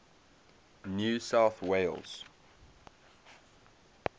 new south wales